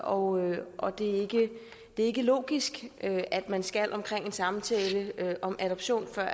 og og det er ikke logisk at man skal omkring en samtale om adoption før